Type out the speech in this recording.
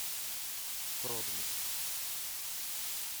продмикс